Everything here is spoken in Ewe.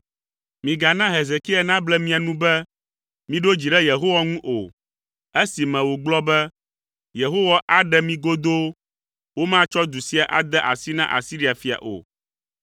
Migana Hezekia nable mia nu be, miɖo dzi ɖe Yehowa ŋu o, esime wògblɔ be, ‘Yehowa aɖe mi godoo; womatsɔ du sia ade asi na Asiria fia o.’